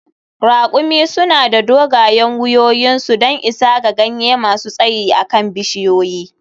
Ra`kumi suna da dogayen wuyoyinsu don isa ga ganye masu tsayi a kan bishiyoyi.